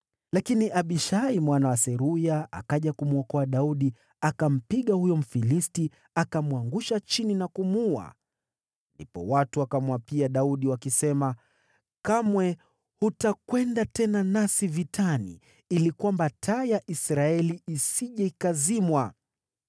Lakini Abishai mwana wa Seruya akaja kumwokoa Daudi; akampiga huyo Mfilisti, akamwangusha chini na kumuua. Ndipo watu wakamwapia Daudi, wakisema, “Kamwe hutakwenda tena nasi vitani, ili kwamba taa ya Israeli isije ikazimwa.”